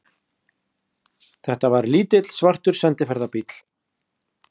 Þetta var lítill, svartur sendiferðabíll.